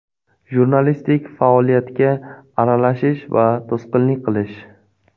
Jurnalistlik faoliyatiga aralashish va to‘sqinlik qilish.